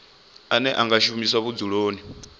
ane a nga shumiswa vhudzuloni